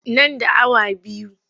Nan da awa biyu.